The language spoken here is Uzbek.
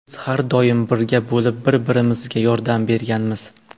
Biz har doim birga bo‘lib, bir-birimizga yordam berganmiz.